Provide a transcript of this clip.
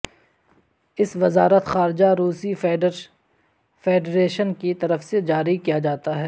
اس وزارت خارجہ روسی فیڈریشن کی طرف سے جاری کیا جاتا ہے